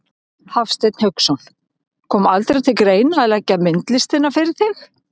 Hafsteinn Hauksson: Kom aldrei til greina að leggja myndlistina fyrir þig?